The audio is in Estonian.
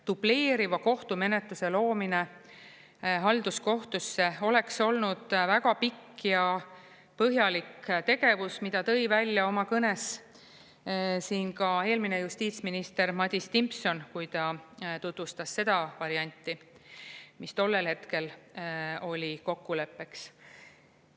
Dubleeriva kohtumenetluse loomine halduskohtusse oleks olnud väga pikk ja põhjalik tegevus, mida tõi välja oma kõnes siin ka eelmine justiitsminister Madis Timpson, kui ta tutvustas seda varianti, mis tollel hetkel oli kokkuleppeks.